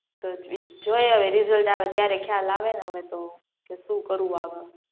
જોઈએ હવે રીઝલ્ટ આવે ત્યારે ખ્યાલ આવે હવે તોહ કે શું કરવું આગળ